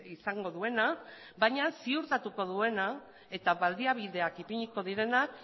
izango duena baina ziurtatuko duena eta baliabideak ipiniko direnak